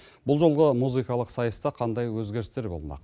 бұл жолғы музыкалық сайыста қандай өзгерістер болмақ